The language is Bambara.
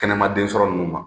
Kɛnɛma den sɔrɔ ninnu ma.